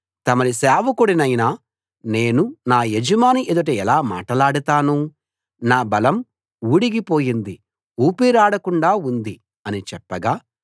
తమరి సేవకుడినైన నేను నా యజమాని ఎదుట ఎలా మాటలాడతాను నా బలం ఉడిగి పోయింది ఊపిరాడకుండా ఉంది అని చెప్పగా